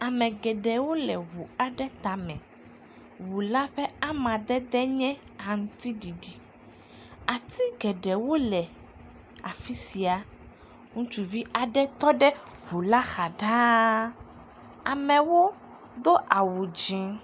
Ame geɖewo le ŋu la tame, ŋu la ƒe amadede nye aŋutiɖiɖi, ati geɖewo le afi sia, ŋutsuvi aɖe tɔ ɖe ŋu la xa ɖaa, amewo do awu dzɛ̃.